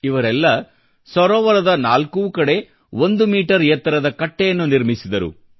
ಇವರೆಲ್ಲ ಸರೋವರದ ನಾಲ್ಕೂ ಕಡೆ ಒಂದು ಮೀಟರ್ ಎತ್ತರದ ಕಟ್ಟೆಯನ್ನು ನಿರ್ಮಿಸಿದರು